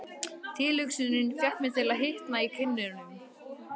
Tilhugsunin fékk mig til að hitna í kinnunum.